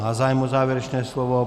Má zájem o závěrečné slovo.